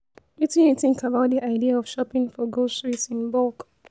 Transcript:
Wetin you think about di idea of shopping for groceries in bulk?